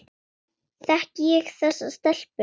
Þekki ég þessa stelpu?